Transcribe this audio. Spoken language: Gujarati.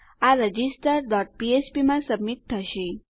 આ રજિસ્ટર ડોટ ફ્ફ્પ માં સબમિટ થશે